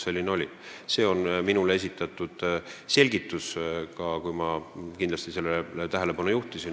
Selline on selgitus, mis minule esitati, kui ma sellele tähelepanu juhtisin.